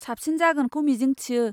साबसिन जागोनखौ मिजिंथियो।